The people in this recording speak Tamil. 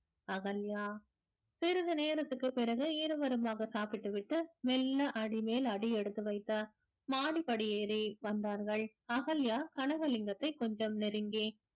அகல்யா சிறிது நேரத்திற்குப் பிறகு இருவருமாக சாப்பிட்டு விட்டு மெல்ல அடிமேல் அடி எடுத்து வைத்தார் மாடிப் படி ஏறி வந்தார்கள் அகல்யா கனகலிங்கத்தை கொஞ்சம் நெருங்கி